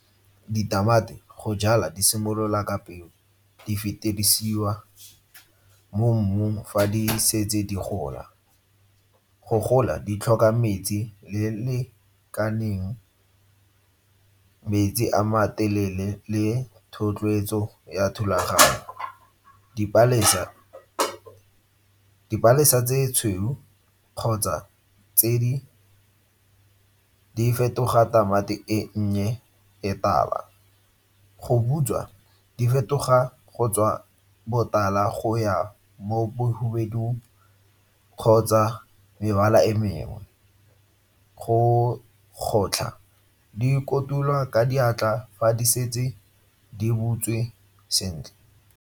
Ditamati go jala di simolola ka peo, di fetisiwa mo mmung fa di setse di gola. Go gola di tlhoka metsi a a lekaneng. Metsi a a matelele le thotloetso ya thulaganyo. Dipalesa tse tshweu kgotsa tse di fetoga tamati e nnye e tala. Go butswa di fetoga go tswa botala go ya mo bohubedung kgotsa mebala e mengwe. Go gotlha, di kotulwa ka diatla fa di setse di butswitse sentle.